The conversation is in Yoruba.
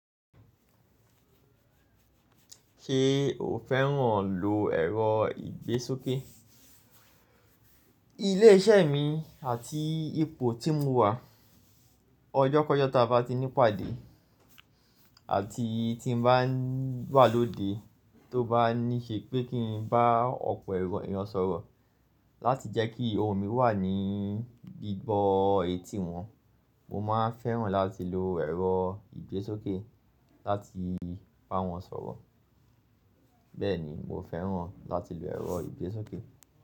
Ṣé o fẹ́ràn lo ẹ̀rọ ìgbésókè? Ilé-iṣẹ́ mi àti ipò tí mo wà, ọjọ́ kọ́jọ́ tí a bá ti ní pàdé àti tí n bá wà lóde tó bá ní ṣe pé kí n bá ọ̀pọ̀ èèyàn sọ̀rọ̀ láti jẹ́ kí ohun mi wà ní gbígbọ́ etí wọn, mo máa fẹ́ràn láti lo ẹ̀rọ ìgbésókè láti bá wọn sọ̀rọ̀. Bẹ́ẹ̀ ni, mo fẹ́ràn láti lo ẹ̀rọ ìgbésókè.